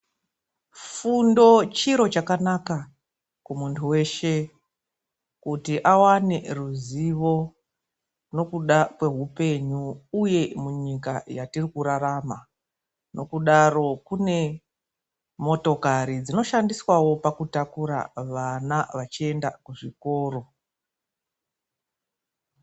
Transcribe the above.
Fundo chiro chakanaka kumuntu weshe, kuti awane ruzivo nokuda kwehupenyu, uye munyika yatiri kurarama. Nokudaro kune motokari dzinoshandiswawo pakutakura vana vachienda kuzvikoro.